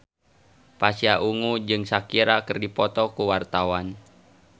Pasha Ungu jeung Shakira keur dipoto ku wartawan